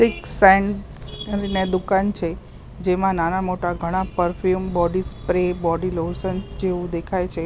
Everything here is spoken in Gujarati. પિક સેન્ટસ કરીને દુકાન છે જેમાં નાના-મોટા ઘણા perfume body spray body lotions જેવું દેખાય છે.